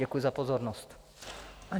Děkuji za pozornost.